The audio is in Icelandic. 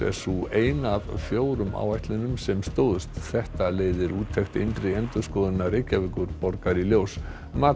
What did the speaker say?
er sú eina af fjórum áætlunum sem stóðst þetta leiðir úttekt innri endurskoðunar Reykjavíkurborgar í ljós